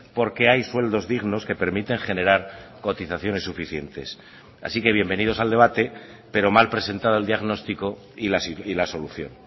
porque hay sueldos dignos que permiten generar cotizaciones suficientes así que bienvenidos al debate pero mal presentada el diagnóstico y la solución